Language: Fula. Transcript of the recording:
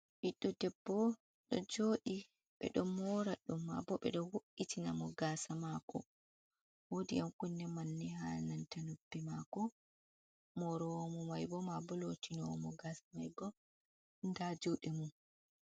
Ɓiɗɗo debbo ɗo jooɗi ɓe ɗo moora ɗum maa boo ɓe ɗo wo'’itina mo gaasa maako woodi ƴan kunne manne haa nanta nuppi maako, mooroowo mo mai boo maabo lootinowo mo gaasa mai boo nda juuɗe mum.